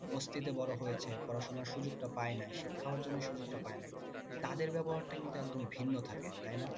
বস্তিতে বড়ো হয়েছে পড়ার সুযোগটা পাই নাই শিক্ষা অর্জনের সুযোগটা পাই নাই। তাদের ব্যবহারটা কিন্তু একদম ভিন্ন থাকে তাই না?